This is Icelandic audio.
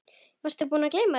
Varstu búinn að gleyma því?